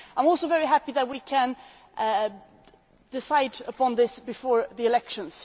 I am also very happy that we can decide on this before the elections.